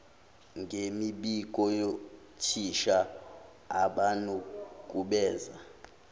ngemibiko yothisha abanukubeza